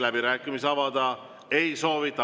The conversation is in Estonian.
Läbirääkimisi avada ei soovita.